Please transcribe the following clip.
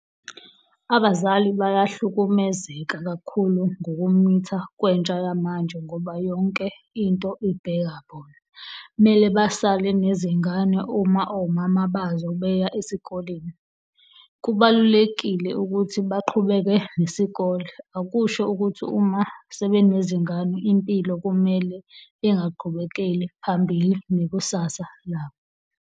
Abazali bayahlukumezeka kakhulu ngokumitha kwentsha yamanje ngoba yonke into ibheka bona, mele basale nezingane uma omama bazo beya esikoleni. Kubalulekile ukuthi baqhubeke nesikole, akusho ukuthi uma sebenenzingane impilo kumele bengaqhubekeli phambili nekusasa labo.